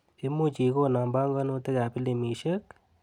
Imuch ikonoo panganutikap piliimisiek?